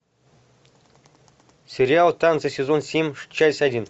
сериал танцы сезон семь часть один